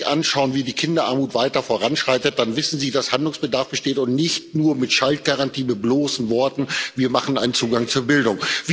Wenn Sie sich anschauen, wie die Kinderarmut weiter voranschreitet, dann wissen Sie, dass Handlungsbedarf besteht und nicht nur mit Schaltgarantie, mit bloßen Worten, wir machen einen Zugang zur Bildung.